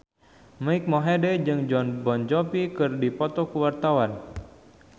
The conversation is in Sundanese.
Mike Mohede jeung Jon Bon Jovi keur dipoto ku wartawan